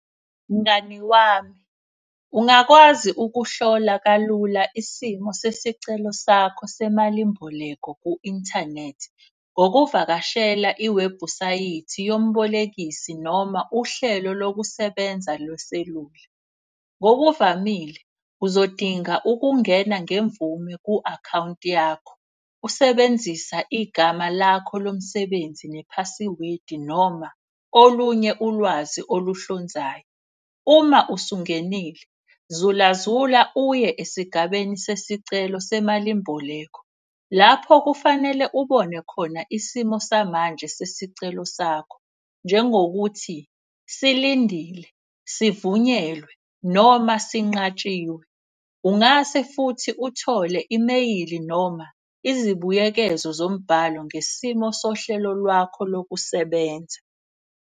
Mngani wami ungakwazi ukuhlola kalula isimo sesicelo sakho semalimboleko ku-inthanethi. Ngokuvakashela iwebhusayithi yomubolekisi noma uhlelo lokusebenza lweselula. Ngokuvamile uzodinga ukungena ngemvume ku-akhawunti yakho, usebenzisa igama lakho lomsebenzi nephasiwedi noma olunye ulwazi oluhlonzayo. Uma usungenile zula zula uye esigabeni sesicelo semalimboleko. Lapho kufanele ubone khona isimo samanje sesicelo sakho, njengokuthi silindile, sivunyelwe noma sinqatshiwe. Ungase futhi uthole imeyili noma izibuyekezo zombhalo ngesimo sohlelo lwakho lokusebenza.